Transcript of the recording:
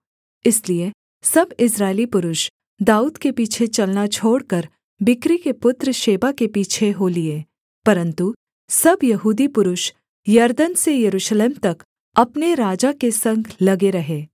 इसलिए सब इस्राएली पुरुष दाऊद के पीछे चलना छोड़कर बिक्री के पुत्र शेबा के पीछे हो लिए परन्तु सब यहूदी पुरुष यरदन से यरूशलेम तक अपने राजा के संग लगे रहे